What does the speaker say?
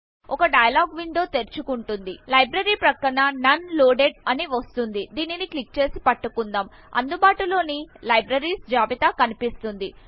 ఒక dialog window తెరుచుకుంటుంది library ప్రక్కన నోన్ లోడెడ్ అని వస్తుంది దీనిని క్లిక్ చేసి పట్టుకుందాం అందుబాటులోని librariesజాబితా కనిపిస్తుంది